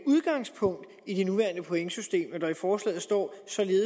udgangspunkt i det nuværende pointsystem når der i forslaget står